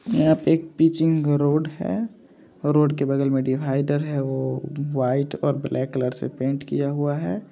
यह एक pitching road है रोड के बगल मे डिवाइडर है वो व्हाइट और ब्लैक कलर से पैंट किया गया है।